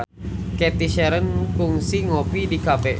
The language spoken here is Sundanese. Cathy Sharon kungsi ngopi di cafe